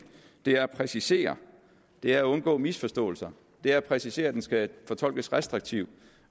det er at præcisere det er at undgå misforståelser det er at præcisere at den skal fortolkes restriktivt